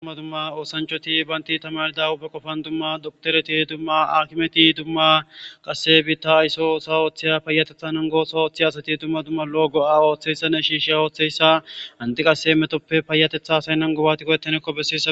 Dumma dumma oosanchoti baynti tamardawu be qofan dumma doktoreti dumma akimeti dumma qasse biitta aysso osa ooththiya payatethan ongoso ooththiy asati dumma dumma lo'o go'a ooththeyssanne shiishe ooththeyssahandi qasse metoppe paayatetha saynnan gobati go'ettanekko besses.